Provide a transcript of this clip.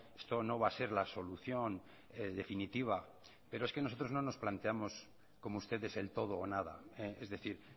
esto no va a ser la solución definitiva pero es que nosotros no nos planteamos como ustedes el todo o nada es decir